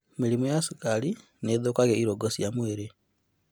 Mĩrĩmũ ya cukari nĩĩthũkagia irũngo cia mwĩrĩ